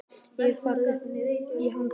Ég hef farið upp í hann tvisvar sinnum.